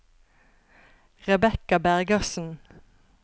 Rebecca Bergersen